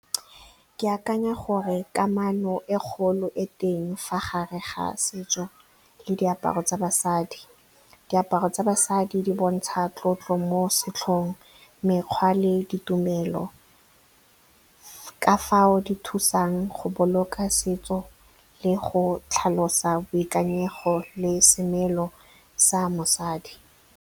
Ke akanya gore kamano e kgolo e teng fa gare ga setso le diaparo tsa basadi. Diaparo tsa basadi di bontsha tlotlo mo setlhong, mekgwa le ditumelo, ka fao di thusang go boloka setso le go tlhalosa boikanyego le semelo sa mosadi.